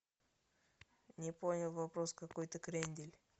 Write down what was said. не понял вопрос какой то крендель